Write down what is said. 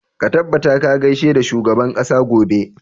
Ka tabbata ka gaishe da shugaban ƙasa gobe!